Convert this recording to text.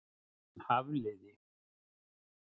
Hafliði